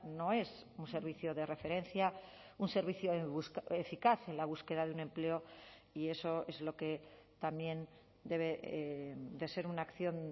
no es un servicio de referencia un servicio eficaz en la búsqueda de un empleo y eso es lo que también debe de ser una acción